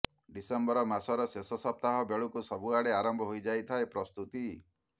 December ମାସର ଶେଷ ସପ୍ତାହ ବେଳକୁ ସବୁଆଡେ ଆରମ୍ଭ ହୋଇଯାଇଥାଏ ପ୍ରସ୍ତୁତି